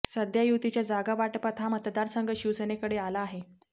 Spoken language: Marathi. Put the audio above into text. सध्या युतीच्या जागावाटपात हा मतदारसंघ शिवसेनेकडे आला आहे